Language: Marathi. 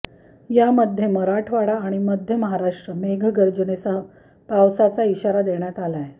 यामध्ये मराठवाडा आणि मध्य महाराष्ट्रात मेघगर्जनेसह पावसाचा इशारा देण्यात आलाय